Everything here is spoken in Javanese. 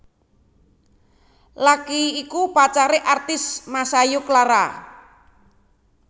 Lucky iku pacaré artis Masayu Clara